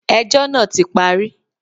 Ẹjọ́ náà ti parí.